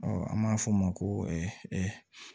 Ɔ an b'a fɔ o ma ko